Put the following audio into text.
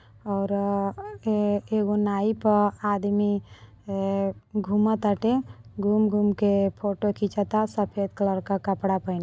और अ- ए- एगो नाई प आदमी अ- घुमताटे घूम - घूम के फोटो खिचता सफ़ेद कलर का कपड़ा पहिन --